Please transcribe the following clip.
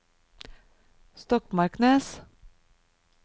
Stokmarknes